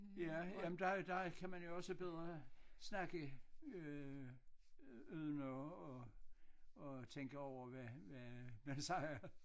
Ja jamen der der kan man jo også bedre snakke øh uden at at at tænke over hvad hvad man siger